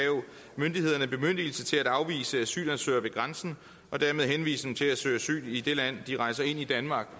myndighederne bemyndigelse til at afvise asylansøgere ved grænsen og dermed henvise dem til at søge asyl i det land de rejser ind i danmark